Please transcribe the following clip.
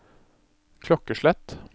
klokkeslett